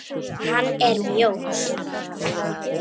Hann er mjór.